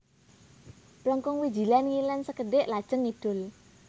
Plengkung Wijilan ngilen sekedhik lajeng ngidul